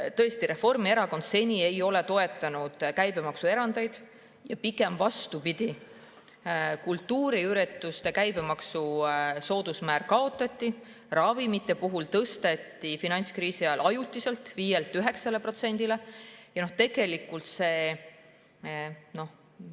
Tõesti, Reformierakond ei ole seni käibemaksuerandeid toetanud, pigem vastupidi, kultuuriürituste käibemaksu soodusmäär kaotati ja ravimite puhul tõsteti see finantskriisi ajal ajutiselt 5%-lt 9%-le.